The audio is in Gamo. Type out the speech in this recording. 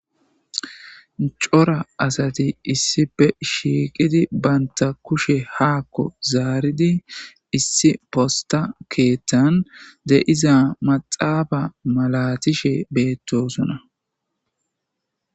Cora asati issipe shiqidi banta kushe hazaridi issi posta kenta diza mazfe malatishe betosna